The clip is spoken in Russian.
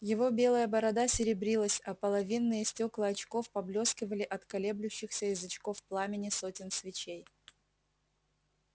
его белая борода серебрилась а половинные стекла очков поблескивали от колеблющихся язычков пламени сотен свечей